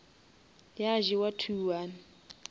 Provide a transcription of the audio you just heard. ya jewa two one